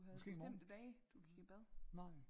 Måske imorgen nej